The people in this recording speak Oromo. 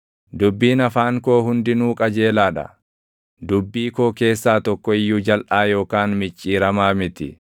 Dubbiin afaan koo hundinuu qajeelaa dha; dubbii koo keessaa tokko iyyuu jalʼaa yookaan micciiramaa miti.